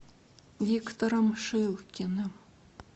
виктором шилкиным